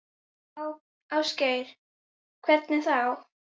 Ásgeir: Hvernig þá?